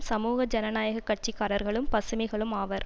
சமூக ஜனநாயக கட்சிக்காரர்களும் பசுமைகளும் ஆவர்